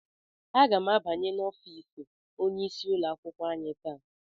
Aga m abanye n'ọfịs onyeisi ụlọ akwụkwọ anyị taa.